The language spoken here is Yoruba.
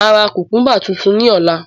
Máa ra kukumba tuntun ní ọ̀la